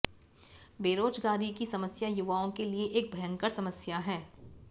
बेरोजगारी की समस्या युवाओं के लिए एक भयंकर समस्या है